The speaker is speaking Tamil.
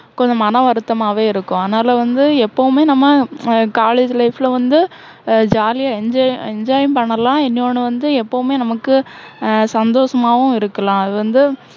கொஞ்சம் மனவருத்தமாவே இருக்கும். அதனால வந்து எப்போவுமே நம்ம ஹம் college life ல வந்து அஹ் jolly ஆ enjoy enjoy யும் பண்ணலாம். இன்னொண்ணு வந்து எப்போவுமே நமக்கு அஹ் சந்தோஷமாவும் இருக்கலாம். அது வந்து